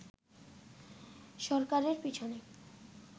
সরকারের পিছনে